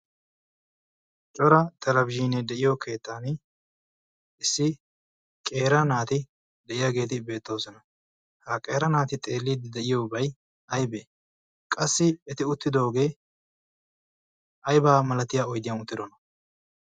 cora tarabsiine de'iyo keettan issi qeera naati de'iyaageedi beettoosona ha qeera naati xeelliid de'iyoobai aybee qassi eti uttidoogee aybaa malatiya oydiyan uttidona?